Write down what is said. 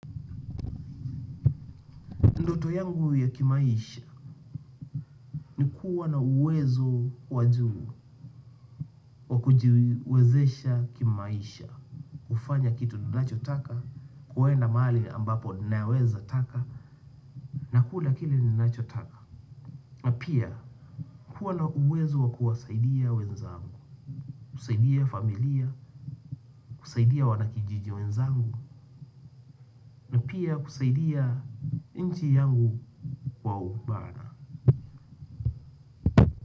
Ndoto yangu ya kimaisha ni kuwa na uwezo wa juu wa kujiwezesha kimaisha. Kufanya kitu ninachotaka, kuenda mahali ambapo ninaweza taka, nakula kile ninachotaka. Pia kuwa na uwezo wa kuwasaidia wenzangu, kusaidia familia, kusaidia wanakijiji wenzangu, pia kusaidia nchi yangu kwa upana.